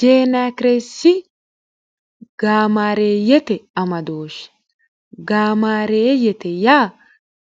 jeenakireessi gaamaareeyyete amadooshi gaamaareeyyete yaa